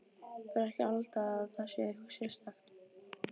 Bara ekki halda að það sé eitthvað sérstakt.